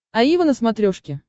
аива на смотрешке